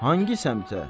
Hansı səmtə?